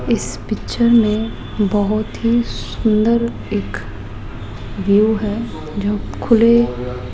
इस पिक्चर में बहोत ही सुंदर एक व्यू है जो खुले --